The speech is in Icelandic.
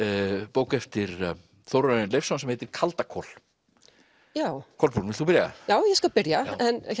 bók eftir Þórarin Leifsson sem heitir kaldakol Kolbrún vilt þú byrja já ég skal byrja